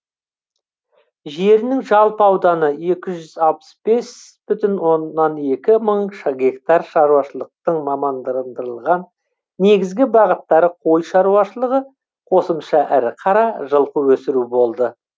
жерінің жалпы ауданы екі жүз алпыс бүтін оннан екі мың гектар шаруашылықтын мамандандырылған негізгі бағыттары қой шаруашылығы қосымша ірі қара жылқы өсіру болды